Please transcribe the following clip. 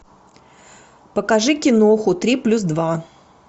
покажи киноху три плюс два